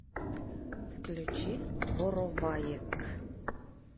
включи вороваек